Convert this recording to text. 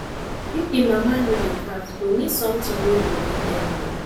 if the mama no dey calves go need something wey go give dem milk